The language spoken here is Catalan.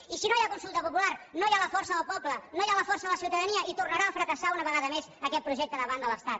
i si no hi ha consulta popular no hi ha la força del poble no hi ha la força de la ciutadania i tornarà a fracassar una vegada més aquest projecte davant de l’estat